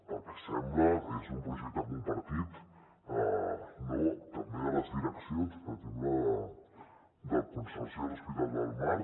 pel que sembla és un projecte compartit no també de les direccions per exemple del consorci de l’hospital del mar